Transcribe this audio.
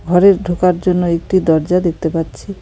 ঘরের ঢোকার জন্য একটি দরজা দেখতে পাচ্ছি।